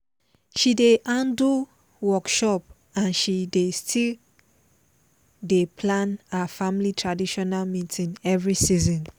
she dey handle workshop and she still dey plan her family traditional meeting every season